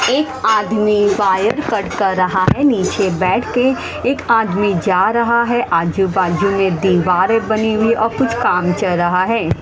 एक आदमी wire cut कर रहा है नीचे बैठ के एक आदमी जा रहा है आजू बाजू में दीवारे बनी हुई और कुछ काम चल रहा है।